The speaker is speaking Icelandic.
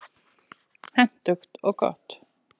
Hentugt og gott.